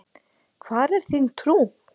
Hvar er þín trú?